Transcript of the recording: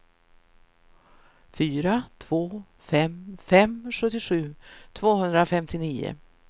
fyra två fem fem sjuttiosju tvåhundrafemtionio